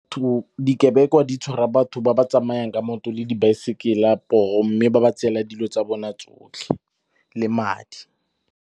Dikebekwa di tshwara batho ba ba tsamayang ka maoto le dibaesekele poo, mme ba ba tsela dilo tsa bona tsotlhe le madi.